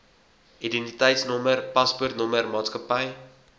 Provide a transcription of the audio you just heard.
identiteitnommer paspoortnommer maatskappy